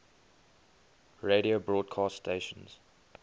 radio broadcast stations